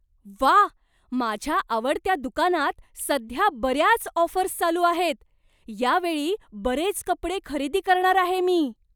व्वा! माझ्या आवडत्या दुकानात सध्या बऱ्याच ऑफर्स चालू आहेत. यावेळी बरेच कपडे खरेदी करणार आहे मी.